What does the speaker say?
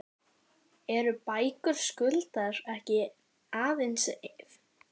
En eru bækur Skuldar ekki aðeins fyrir fólk í viðskiptalífinu?